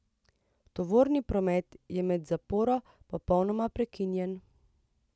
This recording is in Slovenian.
Tovorni promet je med zaporo popolnoma prekinjen.